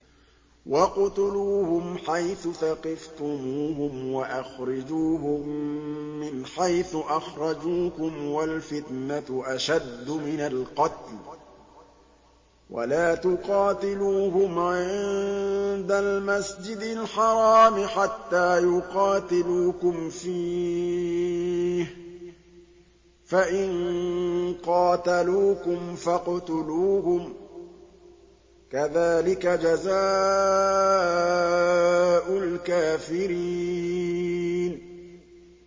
وَاقْتُلُوهُمْ حَيْثُ ثَقِفْتُمُوهُمْ وَأَخْرِجُوهُم مِّنْ حَيْثُ أَخْرَجُوكُمْ ۚ وَالْفِتْنَةُ أَشَدُّ مِنَ الْقَتْلِ ۚ وَلَا تُقَاتِلُوهُمْ عِندَ الْمَسْجِدِ الْحَرَامِ حَتَّىٰ يُقَاتِلُوكُمْ فِيهِ ۖ فَإِن قَاتَلُوكُمْ فَاقْتُلُوهُمْ ۗ كَذَٰلِكَ جَزَاءُ الْكَافِرِينَ